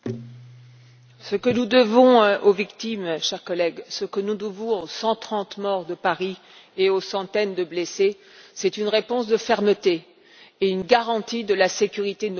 Ce que nous devons aux victimes, chers collègues, ce que nous devons aux 130 morts de Paris et aux centaines de blessés, c'est une réponse caractérisée par la fermeté et une garantie de la sécurité de nos concitoyens.